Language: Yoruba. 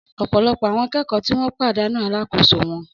Ọ̀pọ̀lọpọ̀ àwọn akẹ́kọ̀ọ́ tí wọ́n pàdánù alákòóso wọn